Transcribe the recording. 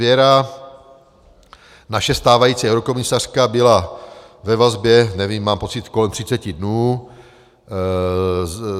Věra, naše stávající eurokomisařka, byla ve vazbě, nevím, mám pocit, kolem 30 dnů.